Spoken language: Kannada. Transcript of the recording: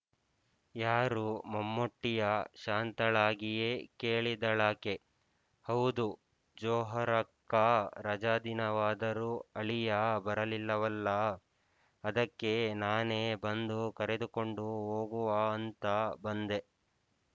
ಯಾರು ಮಮ್ಮೂಟಿಯಾ ಶಾಂತಳಾಗಿಯೇ ಕೇಳಿದಳಾಕೆ ಹೌದು ಜೋಹರಕ್ಕಾ ರಜಾದಿನವಾದರೂ ಅಳಿಯ ಬರಲಿಲ್ಲವಲ್ಲಾ ಅದಕ್ಕೇ ನಾನೇ ಬಂದು ಕರೆದುಕೊಂಡು ಹೋಗುವಾ ಅಂತ ಬಂದೆ